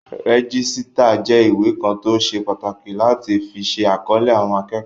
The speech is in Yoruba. Rẹ́jísítà jẹ́ ìwé kan tó ṣe pàtàkì láti fi ṣe àkọlé àwọn akẹ́kọ̀ọ́